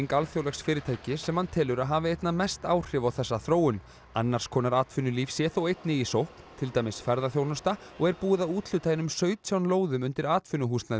alþjóðlegs fyrirtækis sem hann telur að hafi einna mest áhrif á þessa þróun annars konar atvinnulíf sé þó einnig í sókn til dæmis ferðaþjónusta og er búið að úthluta einum sautján lóðum undir atvinnuhúsnæði á